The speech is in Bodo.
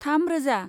थाम रौजा